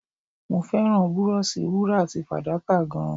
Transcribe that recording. Mo fẹ́ràn búróóṣì wúrà àti fàdákà gan-an.